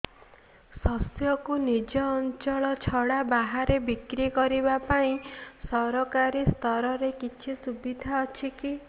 ଶସ୍ୟକୁ ନିଜ ଅଞ୍ଚଳ ଛଡା ବାହାରେ ବିକ୍ରି କରିବା ପାଇଁ ସରକାରୀ ସ୍ତରରେ କିଛି ସୁବିଧା ଅଛି କି